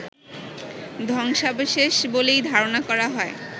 ধ্বংসাবশেষ বলেই ধারণা করা হয়